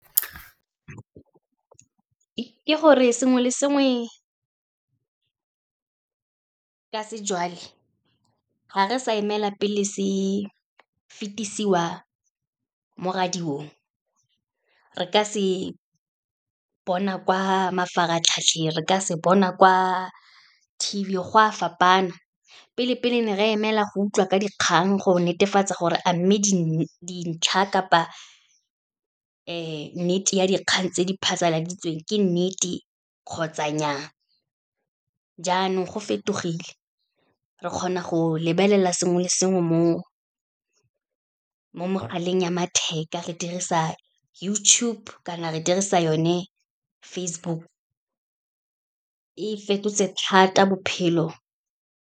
Ke gore sengwe le sengwe ka , ga re sa emela pele se fetisiwa mo radiong, re ka se bona kwa mafaratlhatlheng, re ka se bona kwa T_V, go a fapana. Pele-pele ne re emela go utlwa ka dikgang go netefatsa gore a mme dintlha kapa nnete ya dikgang tse di phasaladitsweng, ke nnete kgotsa nnyaa. Jaanong go fetogile, re kgona go lebelela sengwe le sengwe mo mogaleng ya matheka, re dirisa YouTube kana re dirisa yone Facebook. E fetotse thata bophelo.